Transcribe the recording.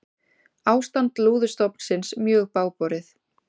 Ástand lúðustofnsins mjög bágborið